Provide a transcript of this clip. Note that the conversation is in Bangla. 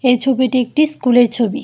এই ছবিটি একটি স্কুলের ছবি।